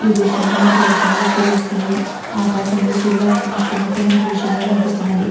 ఈ దృశ్యాన్ని మనకి దృశ్యం చూస్తుంటే తెలుస్తున్నది. ఆకాశం లో సూర్యుడు అస్తమయిస్తున్నట్టు మనకు ఈ దృశ్యం లో కనిపిస్తున్నది.